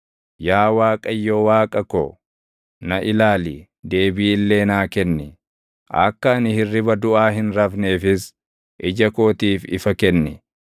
Yaa Waaqayyo Waaqa ko, na ilaali; deebii illee naa kenni. Akka ani hirriba duʼaa hin rafneefis ija kootiif ifa kenni;